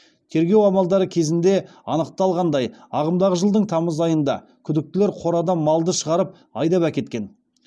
тергеу амалдары кезінде анықталғандай ағымдағы жылдың тамыз айында күдіктілер қорадан малды шығарып айдап әкеткен